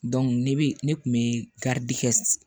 ne bɛ ne kun bɛ kɛ